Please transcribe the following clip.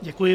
Děkuji.